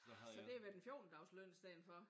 Så det har været en fjortendagesløn i stedet for